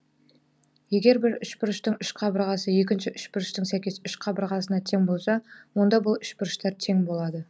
егер бір үшбұрыштың үш қабырғасы екінші үшбұрыштың сәйкес үш қабырғасына тең болса онда бұл үшбұрыштар тең болады